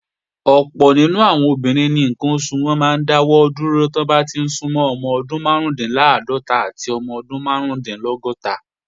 Ọ̀pọ̀ àwọn obìnrin ni ǹkan oṣù wọn máa ń dá láàrín ọdún márùúndínláàádọ́ta àti ọdún márùúndínlọ́gọ́ta